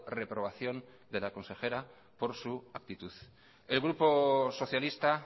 reprobación de la consejera por su actitud el grupo socialista